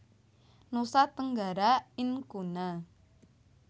Nusa Tenggara Incuna